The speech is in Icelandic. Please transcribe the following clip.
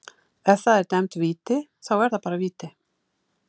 Ef að það er dæmd víti, þá er það bara víti.